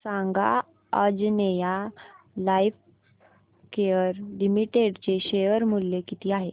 सांगा आंजनेया लाइफकेअर लिमिटेड चे शेअर मूल्य किती आहे